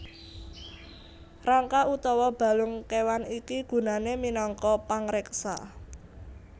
Rangka utawa balung kéwan iki gunané minangka pangreksa